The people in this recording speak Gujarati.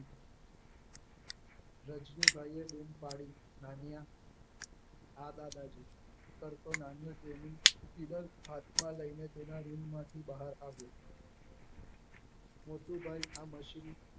રજનીભાઈએ બોમ પાડી નાનીયા હા દાદાજી કરતો નાનીયો તેનું ચિડલ હાથમાં લઈને તેના રૂમમાંથી બહાર આવ્યો મોટું ભાઈ આ મશીન